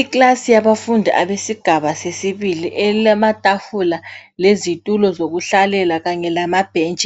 Iclass yabafundi abesigaba sesibili elamatafula lezitulo zokuhlalela kanye lamabench